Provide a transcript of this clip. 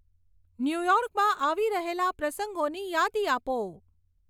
ન્યુયોર્કમાં આવી રહેલાં પ્રસંગોની યાદી આપો